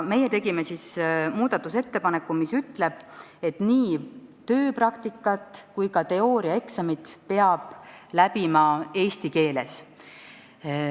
Meie tegime muudatusettepaneku, et nii tööpraktika kui ka teooriaeksami peab tegema eesti keeles.